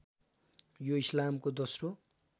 यो इस्लामको दोस्रो